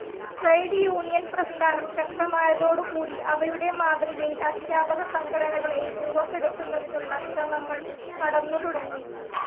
Trade union പ്രസ്ഥാനം ശക്തമായതോടുകൂടി അവയുടെ മാതൃകയിൽ അദ്ധ്യാപകസംഘടനകളേയും രൂപപ്പെടുത്തന്നതിനുള്ള ശ്രമങ്ങൾ നടന്നുതുടങ്ങി.